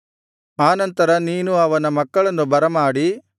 ಆ ನಂತರ ನೀನು ಅವನ ಮಕ್ಕಳನ್ನು ಬರಮಾಡಿ